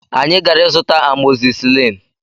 Anyị gara ịzụta amọzisilin